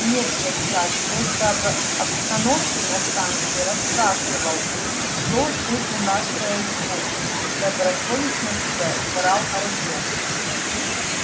нет дядь саш просто об обстановке на станции расспрашивал что тут у нас происходит добросовестно соврал артём